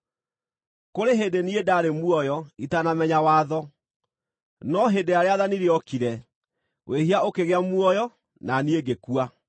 Kũrĩ hĩndĩ niĩ ndaarĩ muoyo itanamenya watho; no hĩndĩ ĩrĩa rĩathani rĩokire, wĩhia ũkĩgĩa muoyo na niĩ ngĩkua.